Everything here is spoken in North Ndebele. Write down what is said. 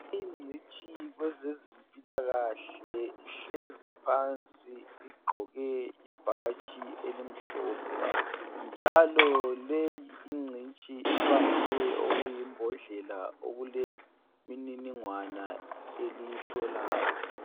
Ingcitshi kwezezimpilakahle ihlezi phansi igqoke ibhatshi elimhlophe njalo leyi ingcitshi ibambe okuyimbodlela okulemininingwana eliyihlolayo.